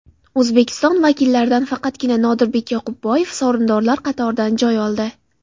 O‘zbekiston vakillaridan faqatgina Nodirbek Yoqubboyev sovrindorlar qatoridan joy oldi.